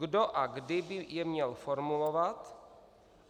Kdo a kdy by je měl formulovat?